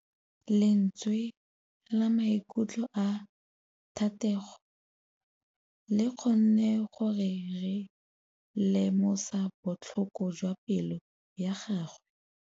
Lentswe la maikutlo a Thategô le kgonne gore re lemosa botlhoko jwa pelô ya gagwe.